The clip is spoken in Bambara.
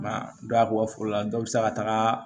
Ma don a ko foro la dɔ bɛ se ka taga